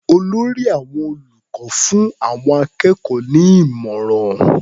Olórí àwọn olùkọ́ fún àwọn akẹ́kọ̀ọ́ ní ìmọ̀ràn.